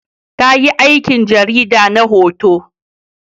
Ta yi aikin jarida na hoto